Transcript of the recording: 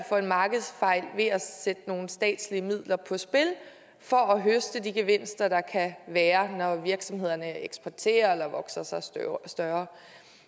for en markedsfejl ved at sætte nogle statslige midler på spil for at høste de gevinster der kan være når virksomhederne eksporterer eller vokser sig store